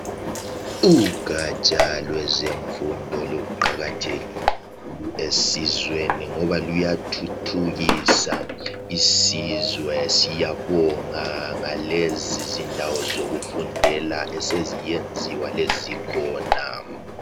Ugatsha lwezemfundo luqakathekile esizweni ngoba luyathuthukisa isizwe siyabonga ngalezi zindawo zokufundela eseziyenziwa lezi khona.